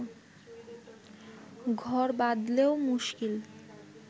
ঘর বাঁধলেও মুশকিল